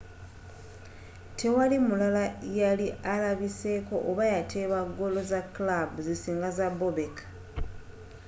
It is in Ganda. tewali mulala yali alabiseeko oba yateeba goolo za kilaabu zisinga za bobek